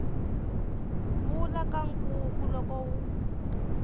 vula ka nkuku loko wu